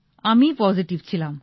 আমিই পজিটিভ ছিলাম